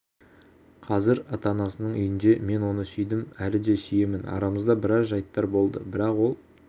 қазір ата-анасының үйінде мен оны сүйдім әлі де сүйемін арамызда біраз жайттар болды бірақ ол